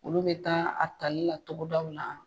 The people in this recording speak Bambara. Olu bɛ taa a tali la togodaw la.